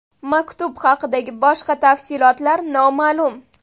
Maktub haqidagi boshqa tafsilotlar noma’lum.